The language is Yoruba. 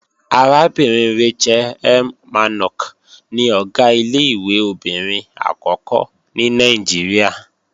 Arábìnrin Rachel M. Mannok ni Ọ̀gá ilé-ìwé obìnrin àkọ́kọ́ ní Nàìjíríà